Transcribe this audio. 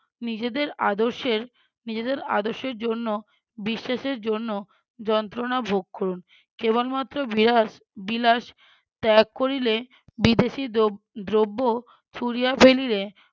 নিজেদের আদর্শের নিজেদের আদর্শের জন্য বিশ্বাসের জন্য যন্ত্রনা ভোগ করুন। কেবলমাত্র বিয়াস~ বিলাস ত্যাগ করিলে বিদেশী দ্রব্~ দ্রব্য ছুঁড়িয়া ফেলিলে